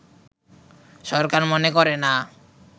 সরকার মনে করে না